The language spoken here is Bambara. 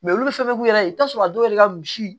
olu fɛnɛ b'u yɛrɛ i bɛ t'a sɔrɔ a dɔw yɛrɛ ka misi